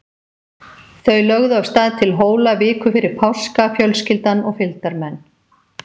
Þau lögðu af stað til Hóla viku fyrir páska, fjölskyldan og fylgdarmenn.